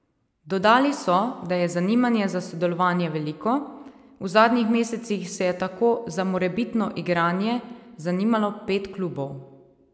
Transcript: Dodali so, da je zanimanje za sodelovanje veliko, v zadnjih mesecih se je tako za morebitno igranje zanimalo pet klubov.